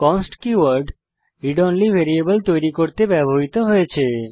const keyword read only variable তৈরী করতে ব্যবহৃত হয়েছে